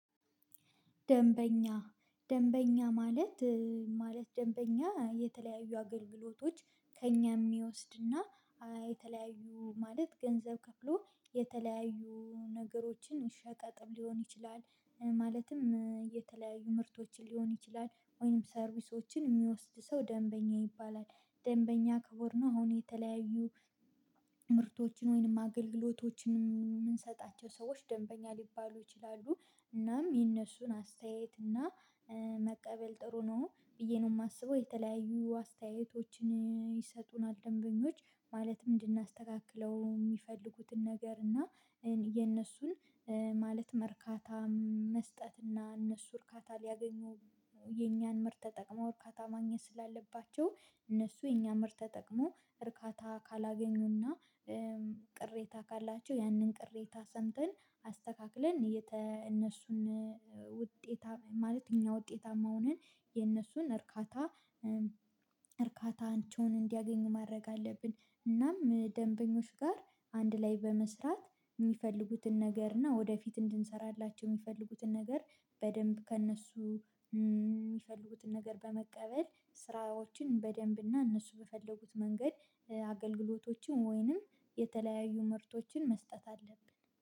ደምበኛ ደምበኛ ማለት ማለት ደንበኛ የተለያዩ አገልግሎቶች ከእኛ የሚወስድና የተለያዩ ማለት ገንዘብ ከፍሎ የተለያዩ ነገሮችን ሸቀጥም ሊሆን ይችላል ማለትም የተለያዩ ምርቶችን ሊሆን ይችላል ወይም ሰርቪሶችን የሚወስድ ሰው ደንበኛ ይባላል። ደንበኛ ክቡር ነው። አሁን የተለያዩ ምርቶችን ወይንም አገልግሎቶችን የምንሰጣቸው ሰዎች ደንበኛ ሊባሉ ይችላሉ። እናም የእነሱን አስተያየት እና መቀበል ጥሩ ነው ብዬ ነው የማስበው። የተለያዩ አስተያየቶችን ይሰጡናል ደንበኞች። ማለትም እንድናስተካክለው የሚፈልጉትን ነገር እና የነሱን ማለት እርካታ መስጠት እና እነሱ እርካታ ሊያገኙ። የኛን ምርት ተጠቅመው እርካታ ማግኘት ስላለባቸው እነሱ የኛን ምርት ተጠቅመው እርካታ ካላገኙና። ቅሬታ ካላቸው ያንን ቅሬታ ሰምተን አስተካክለን እነሱን ውጤታ ማለት እኛ ውጤታማ ሆነን የነሱን እርካታ። እርካታችውን እንዲያገኙ ማድረግ አለብን። እናም ደንበኞች ጋር አንድ ላይ በመስራት የሚፈልጉትን ነገር እና ወደፊት እንድንሰራላቸው የሚፈልጉትን ነገር። በደንብ ከእነሱ የሚፈልጉትን ነገር በመቀበል ስራዎችን በደንብና እነሱ በፈለጉት መንገድ አገልግሎቶችን ወይንም የተለያዩ ምርቶችን መስጠት አለብን